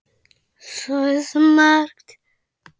Það er svo margt.